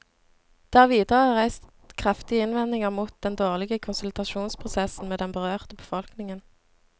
Det er videre reist kraftige innvendinger mot den dårlige konsultasjonsprosessen med den berørte befolkningen.